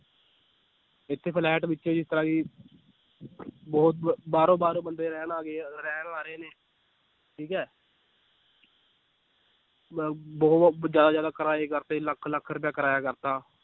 ਇੱਥੇ ਫਲੈਟ ਵਿੱਚ ਬਹੁਤ ਬਾਹਰੋਂ ਬਾਹਰੋਂ ਬੰਦੇ ਰਹਿਣ ਆ ਗਏ ਆ, ਰਹਿਣ ਆ ਰਹੇ ਨੇ ਠੀਕ ਹੈ ਬ~ ਬਹੁਤ ਜ਼ਿਆਦਾ ਜ਼ਿਆਦਾ ਕਿਰਾਏ ਕਰ ਦਿੱਤੇ ਲੱਖ ਲੱਖ ਰੁਪਇਆ ਕਿਰਾਇਆ ਕਰ ਦਿੱਤਾ